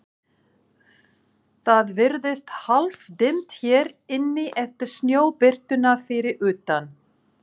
Það virðist hálfdimmt hér inni eftir snjóbirtuna fyrir utan.